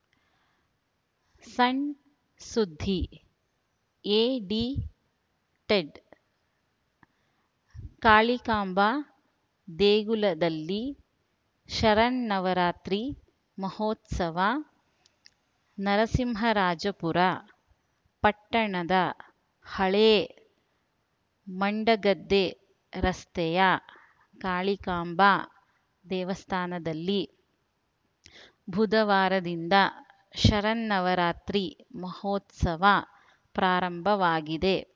ಸಣ್‌ ಸುದ್ದಿ edited Kalikamba ದೇಗುಲದಲ್ಲಿ ಶರನ್ನವರಾತ್ರಿ ಮಹೋತ್ಸವ ನರಸಿಂಹರಾಜಪುರ ಪಟ್ಟಣದ ಹಳೇ ಮಂಡಗದ್ದೆ ರಸ್ತೆಯ ಕಾಳಿಕಾಂಬಾ ದೇವಸ್ಥಾನದಲ್ಲಿ ಬುಧವಾರದಿಂದ ಶರನ್ನವರಾತ್ರಿ ಮಹೋತ್ಸವ ಪ್ರಾರಂಭವಾಗಿದೆ